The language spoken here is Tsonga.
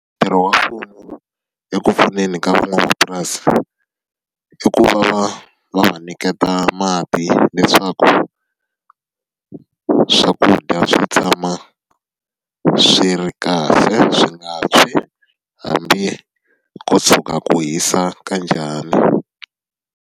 Ntirho wa mfumo eku pfuneni ka van'wamapurasi, i ku va va va va nyiketa mati leswaku swakudya swi tshama swi ri kahle, swi nga tshwi hambi ko tshuka ku hisa ka njhani.